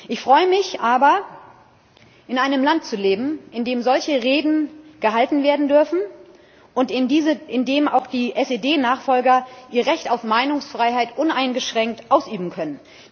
Ich freue mich aber, in einem Land zu leben, in dem solche Reden gehalten werden dürfen und in dem auch die SED Nachfolger ihr Recht auf Meinungsfreiheit uneingeschränkt ausüben können.